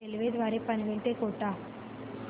railway द्वारे पनवेल ते कोटा